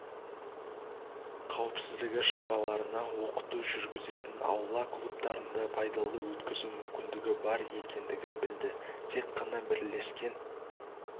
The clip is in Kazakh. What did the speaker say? қауіпсіздігі шараларына оқыту жүргізетін аула клубтарында пайдалы өткізу мүмкіндігі бар екендігін білді тек қана бірлескен